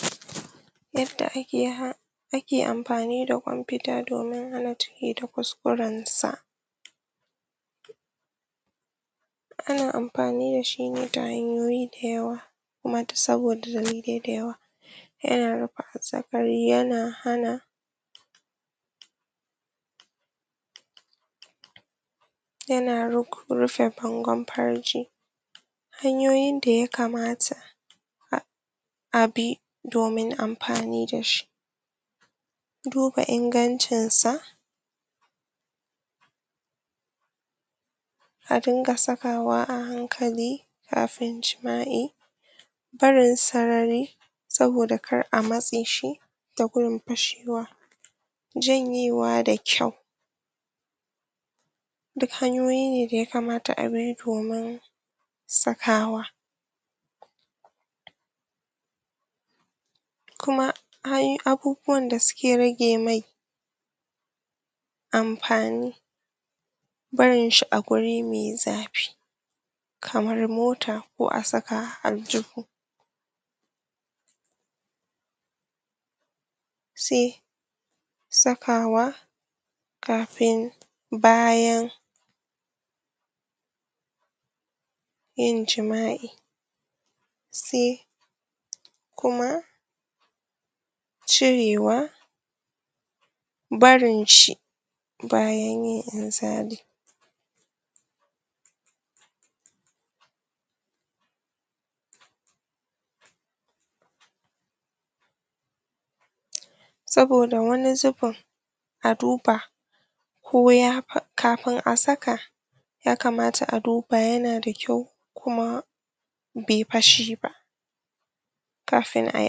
? yadda ake had ake amfani da Kwan fita domin hana ciki da kuskurensa ana amfani da shi ne ta hanyoyi da yawa kuma dus saboda dalilai da yawa yana raba azzakari yana hana yana rufe bangon farji hanyoyin da ya kamata? abi domin amfani da shi duba ingancinsa a dinga zubawa a hankali kafin jima'i barin sarari saboda kar a matse shi da gun fashewa janyewa da kyau duk hanyoyi ne da ya kamata abi domin sakawa kuma hay abubuwan da suke rage mai amfani barinshi a guri me zafi kamar mota ko a saka a aljihu se sakawa kafin bayan yin jima'i se kuma cirewa barin shi bayan yin inzali? saboda wani zubin a duba ko ya kafin a saka ya kamata a duba yana da kyau kuma bai fashe ba kafin ai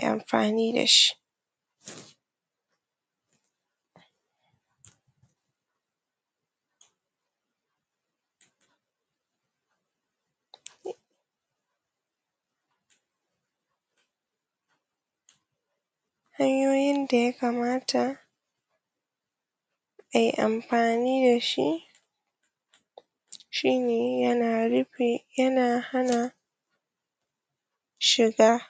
amfani da shi?? hanyoyi da ya kamata ai amfani da shi shin yana rufe yana hana shiga??